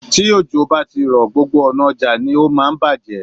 Tí òjò bá ti rọ̀, gbogbo ọ̀nà ọjà ni ó máa ń bàjé.